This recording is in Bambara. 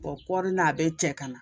kɔri n'a bɛ cɛ ka na